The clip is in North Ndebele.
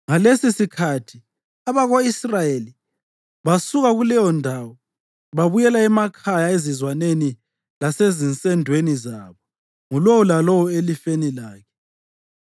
Ngalesisikhathi abako-Israyeli basuka kuleyondawo babuyela emakhaya ezizwaneni lasezinsendweni zabo, ngulowo lalowo elifeni lakhe.